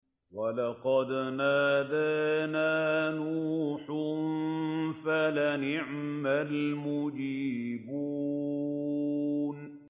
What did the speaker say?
وَلَقَدْ نَادَانَا نُوحٌ فَلَنِعْمَ الْمُجِيبُونَ